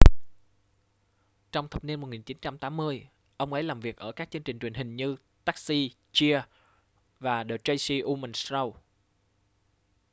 trong thập niên 1980 ông ấy làm việc ở các chương trình truyền hình như taxi cheers và the tracy ullman show